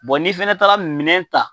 n'i fɛnɛ taa la minɛn ta